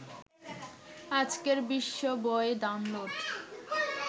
আজকের বিশ্ব বই ডাউনলোড